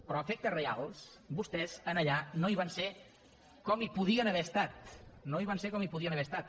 però a efectes reals vostès allà no hi van ser com hi podien haver estat no hi van ser com hi podien haver estat